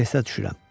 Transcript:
Stressə düşürəm.